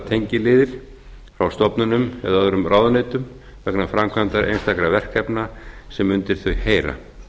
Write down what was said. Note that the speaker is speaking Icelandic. tengiliðir frá stofnunum eða öðrum ráðuneytum vegna framkvæmdar einstakra verkefna sem undir þau heyra